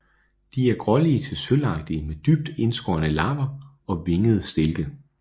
De er grålige til sølvagtige med dybt indskårne lapper og vingede stilke